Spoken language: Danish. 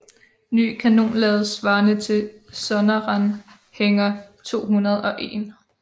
Ny kanonlavet svarende til Sonderanhänger 201